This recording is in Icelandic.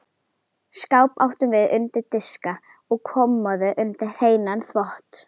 Skáp áttum við undir diska og kommóðu undir hreinan þvott.